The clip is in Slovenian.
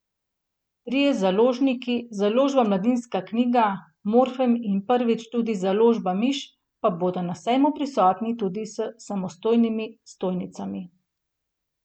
Trije založniki, Založba Mladinska knjiga, Morfem in prvič tudi Založba Miš, pa bodo na sejmu prisotni tudi s samostojnimi stojnicami.